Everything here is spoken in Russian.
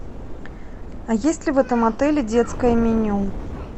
а есть ли в этом отеле детское меню